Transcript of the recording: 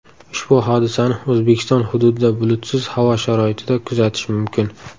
Ushbu hodisani O‘zbekiston hududida bulutsiz havo sharoitida kuzatish mumkin.